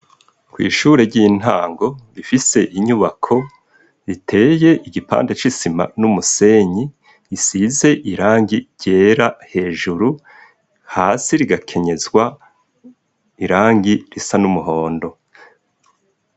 Kw'ishure ry'intango rifise inyubako biteye igipande c'isima n'umusenyi isize irangi ryera hejuru, hasi rigakenyezwa irangi risa numuhondo.